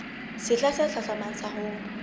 sehla se hlahlamang sa ho